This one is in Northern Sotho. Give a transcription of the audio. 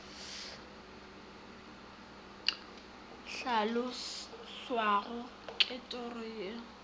hlaloswago ke toro ye e